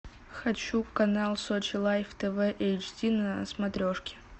хочу канал сочи лайф тв эйч ди на смотрешке